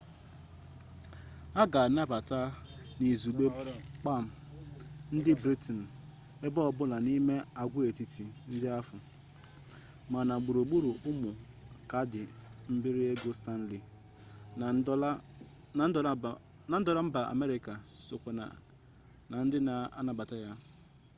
a ga-anabata n'izugbe pam ndị britenụ ebe ọbụla n'ime agwaetiti ndị ahụ ma na gburugburu ụmụ kaadị mbiri ego stanley na dọla mba amerịka sokwa na ndị a na-anabata